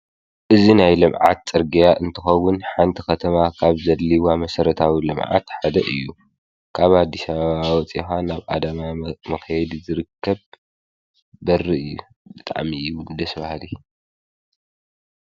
እዚ ናይ ልምዓት ፅርግያ እንትኸዉን ሓንቲ ከተማ ካብ ዘድልይዋ መሰረታዊ ልምዓት ሓደ እዩ። ካብ ኣዲስ አበባ ወፂእኻ ናብ ኣዳማ መኸየዲ ዝርከብ በሪ እዩ። ብጣዕሚ እዩ ደስ ብሃሊ።